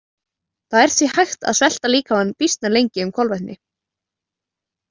Það er því hægt að svelta líkamann býsna lengi um kolvetni.